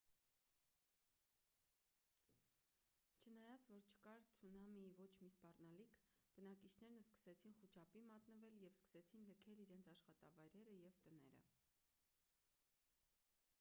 չնայած որ չկար ցունամիի ոչ մի սպառնալիք բնակիչներն սկսեցին խուճապի մատնվել ու սկսեցին լքել իրենց աշխատավայրերը և տները